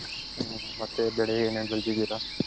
ಹುಂ ಮತ್ತೆ ಏನೇನ್ ಬೆಳ್ದಿದಿರ.